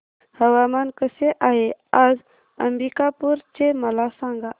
हवामान कसे आहे आज अंबिकापूर चे मला सांगा